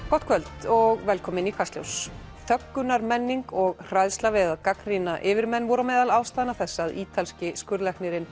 gott kvöld og velkomin í Kastljós og hræðsla við að gagnrýna yfirmenn voru á meðal ástæðna þess að ítalski skurðlæknirinn